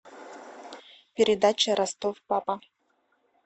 передача ростов папа